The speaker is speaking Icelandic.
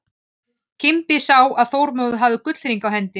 Kimbi sá að Þormóður hafði gullhring á hendi.